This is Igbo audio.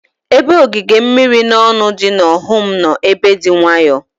Ebe ogige mmiri na ọnụ dị n'Ọhum nọ ebe dị nwayọọ.